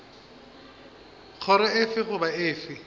kgoro efe goba efe ya